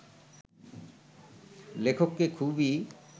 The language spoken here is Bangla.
লেখককে খুবই